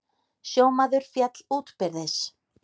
Sjómaður féll útbyrðis